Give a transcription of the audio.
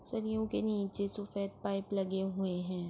سریو کے نیچے سفید پائپ لگے ہوئے ہے-